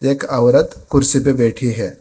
एक औरत कुर्सी पे बैठी है।